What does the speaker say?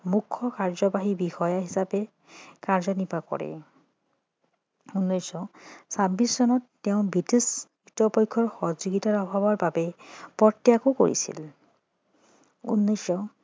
মূখ্য কাৰ্য্যবাহী বিষয়া হিচাপে কাৰ্য্যনিৰ্বাহ কৰে উনৈছশ ছাব্বিছ চনত তেওঁ বৃটিছ কৰ্তৃপক্ষৰ সহযোগিতা অভাৱৰ বাবে পদত্যাগো কৰিছিল উনৈছশ